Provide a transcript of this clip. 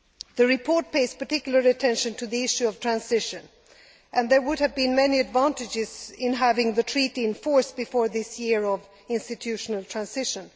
The report pays particular attention to the issue of transition, and there would have been many advantages in having the Treaty in force before this year of institutional transition.